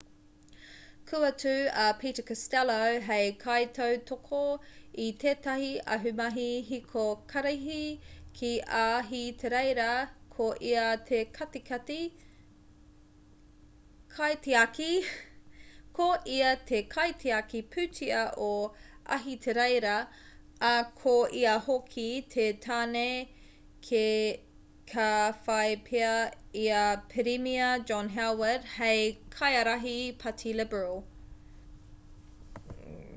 kua tū a peter costello hei kaitautoko i tētahi ahumahi hiko karihi ki ahitereiria ko ia te kaitiaki pūtea o ahitereiria ā ko ia hoki te tāne ka whai pea i a pirimia john howard hei kaiārahi pāti liberal